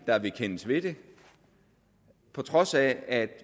der vil kendes ved det på trods af at